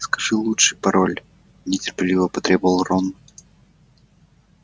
скажи лучше пароль нетерпеливо потребовал рон